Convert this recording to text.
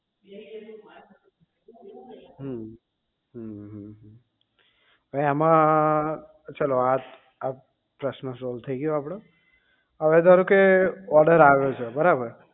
હમ અમ અવે આમાં ચલો આ આ પ્રશ્ન solve થઇ ગયો આપડો અવે ધારો કે order આવ્યો છે બરાબર